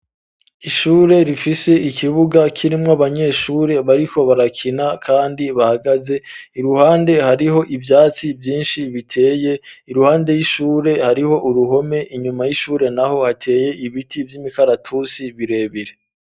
Ishure rifise ikibuga kirimwo abanyeshure bariho barakina kandi bahagaze iruhande hariho ibyatsi vyinshi biteye iruhande y'ishure hariho uruhome inyuma y'ishure naho hateye ibiti vy'imikaratusi birebire.